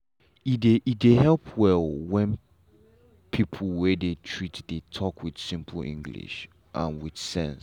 e dey e dey help well when people wey dey treat dey talk with simple english and with sense.